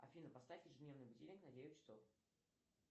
афина поставь ежедневный будильник на девять часов